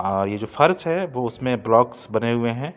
और ये जो फर्श है वो उसमें ब्लॉकस बने हुए हैं।